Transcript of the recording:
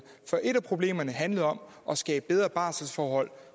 for et af problemerne handler om at skabe bedre barselsforhold